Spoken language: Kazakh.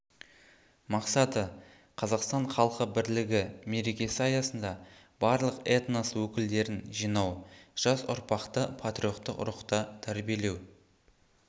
мақсаты қазақстан халқы бірлігі мерекесі аясында барлық этнос өкілдерін жинау жас ұрпақты патриоттық рухта тәрбиелеу